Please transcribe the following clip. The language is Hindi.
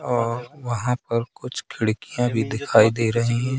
और वहां पर कुछ खिड़कियाँ भी दिखाई दे रही--